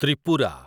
Tripura